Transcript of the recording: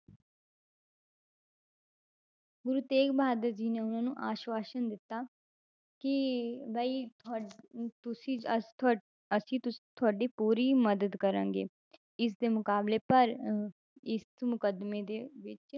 ਗੁਰੂ ਤੇਗ ਬਹਾਦਰ ਜੀ ਨੇ ਉਹਨਾਂ ਨੂੰ ਆਸਵਾਸ਼ਨ ਦਿੱਤਾ ਕਿ ਵੀ ਤੁਹਾ~ ਅਮ ਤੁਸੀਂ ਅਹ ਤੁਹਾ~ ਅਸੀਂ ਤੁਸ~ ਤੁਹਾਡੀ ਪੂਰੀ ਮਦਦ ਕਰਾਂਗੇ, ਇਸਦੇ ਮੁਕਾਬਲੇ ਪਰ ਅਹ ਇਸ ਮੁਕੱਦਮੇ ਦੇ ਵਿੱਚ